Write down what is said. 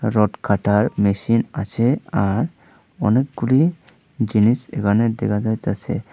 Rod কাটার machine আছে আর অনেকগুলি জিনিস এখানে দেখা যাইতাছে।